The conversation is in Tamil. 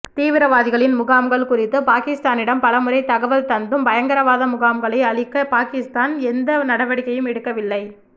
தீவிரவாதிகளின் முகாம்கள் குறித்து பாகிஸ்தானிடம் பலமுறை தகவல் தந்தும் பயங்கரவாத முகாம்களை அழிக்க பாகிஸ்தான் எந்த நடவடிக்கையும் எடுக்கவில்லை